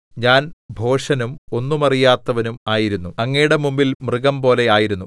ഞാൻ ഭോഷനും ഒന്നും അറിയാത്തവനും ആയിരുന്നു അങ്ങയുടെ മുമ്പിൽ മൃഗംപോലെ ആയിരുന്നു